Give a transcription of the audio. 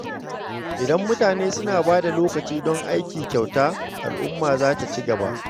Idan mutane suna bada lokaci don aiki kyauta, al’umma za ta ci gaba.